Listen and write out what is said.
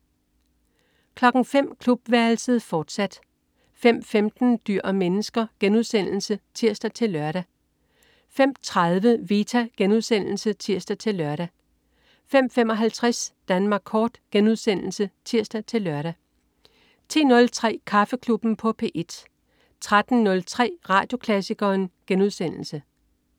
05.00 Klubværelset, fortsat 05.15 Dyr og mennesker* (tirs-lør) 05.30 Vita* (tirs-lør) 05.55 Danmark kort* (tirs-lør) 10.03 Kaffeklubben på P1 13.03 Radioklassikeren*